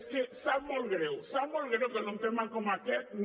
és que sap molt greu sap molt greu que en un tema com aquest no